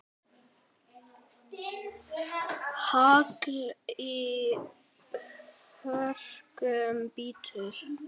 Hagl í hörkum bítur.